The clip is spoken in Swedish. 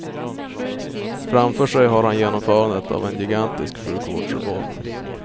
Framför sig har han genomförandet av en gigantisk sjukvårdsreform.